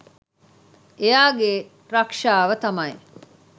එයාගේ රක්ෂාව තමයි